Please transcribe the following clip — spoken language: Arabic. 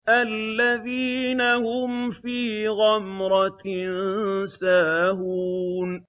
الَّذِينَ هُمْ فِي غَمْرَةٍ سَاهُونَ